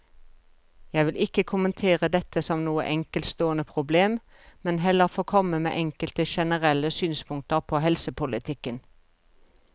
Jeg vil ikke kommentere dette som noe enkeltstående problem, men heller få komme med enkelte generelle synspunkter på helsepolitikken.